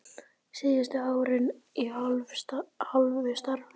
Síðustu árin í hálfu starfi.